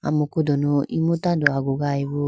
amuku dunu eku tando agugayi boo.